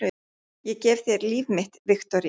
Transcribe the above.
Ég gef þér líf mitt, Viktoría.